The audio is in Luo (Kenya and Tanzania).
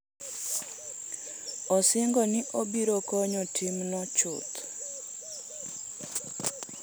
Osingo ni obiro konyo timno chuth.